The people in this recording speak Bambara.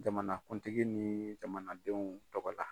Jamanakuntigi ni jamanadenw tɔgɔ la.